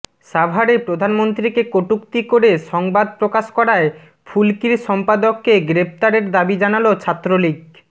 সাভারে প্রধানমন্ত্রীকে কটুক্তি করে সংবাদ প্রকাশ করায় ফুলকির সম্পাদককে গ্রেপ্তারের দাবী জানালো ছাত্রলীগ